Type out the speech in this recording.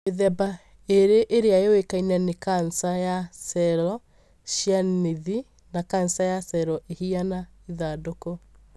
Mĩthemba ĩrĩ ĩrĩa yũĩkaine nĩ cancer ya cello cia nthĩ na cancer ya cello ihiana ithandũkũ.